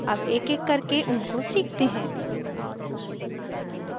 अब एकएक करके उनको सीखते हैं